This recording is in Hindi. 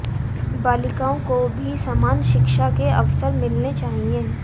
बालिकाओं को भी समान शिक्षा के अवसर मिलने चाहिए